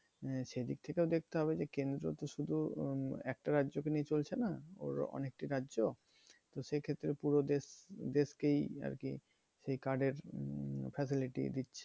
মানে সেদিক থেকেও দেখতে হবে যে, কেন্দ্র তো শুধু একটা রাজ্য কে নিয়ে চলছে না। ওর অনেকটা রাজ্য? তো সেক্ষেত্রে পুরো দেশ দেশকেই আরকি এই card এর উম সাথে দিচ্ছে।